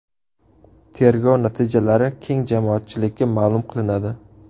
Tergov natijalari keng jamoatchilikka ma’lum qilinadi.